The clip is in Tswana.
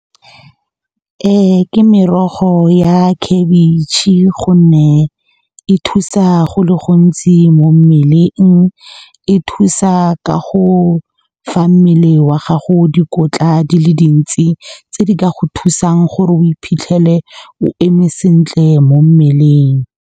Ke merogo ya khabitšhe gonne e thusa go le gontsi mo mmeleng, e thusa ka go fa mmele wa gago dikotla di le dintsi tse di ka go thusang gore o iphitlhele o eme sentle mo mmeleng.